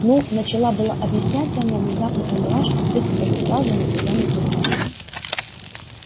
ну начала было объяснять я но внезапно поняла что сути этой фразы никогда не понимала